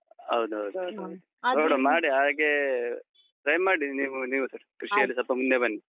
ಹೌದು ಹೌದು ಹೌದು. ಮಾಡಿ ಹಾಗೇ try ಮಾಡಿ ನೀವು, ನೀವುಸ ಸ್ವಲ್ಪ ಮುಂದೆ ಬನ್ನಿ.